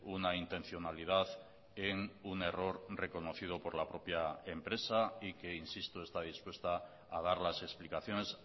una intencionalidad en un error reconocido por la propia empresa y que insisto está dispuesta a dar las explicaciones